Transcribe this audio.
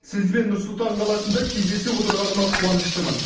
сізбен нұр сұлтан қаласында кездесіп отырғаныма қуаныштымын